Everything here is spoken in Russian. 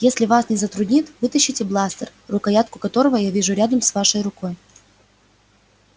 если вас не затруднит вытащите бластер рукоятку которого я вижу рядом с вашей рукой